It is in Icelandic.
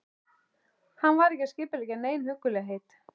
Hann var ekki að skipuleggja nein huggulegheit.